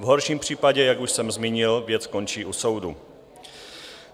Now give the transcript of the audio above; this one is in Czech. V horším případě, jak už jsem zmínil, věc končí u soudu.